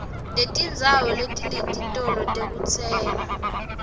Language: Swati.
netindzawo letinetitolo tekutsenga